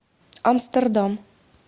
амстердам